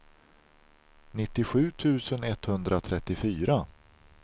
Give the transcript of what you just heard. nittiosju tusen etthundratrettiofyra